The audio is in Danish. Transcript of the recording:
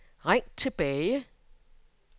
ring tilbage